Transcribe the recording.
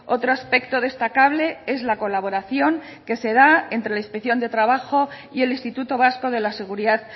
otro aspecto destacable es la colaboración que se da entre la inspección de trabajo y el instituto vasco de la seguridad